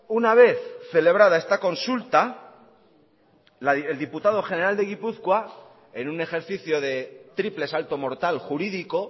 una vez celebrada esta consulta el diputado general de gipuzkoa en un ejercicio de triple salto mortal jurídico